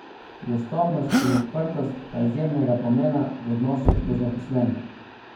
Dostopnost in odprtost sta izjemnega pomena v odnosu do zaposlenih.